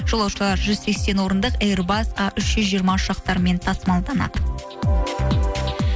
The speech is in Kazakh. жолаушылар жүз сексен орындық эйрбас а үш жүз жиырма ұшақтарымен тасымалданады